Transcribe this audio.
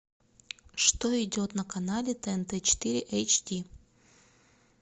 что идет на канале тнт четыре эйчди